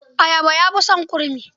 Ayaba ta fi son kurmi.